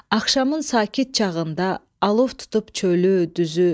Axşamın sakit çağında alov tutub çölü, düzü.